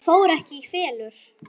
Það fór ekki í felur.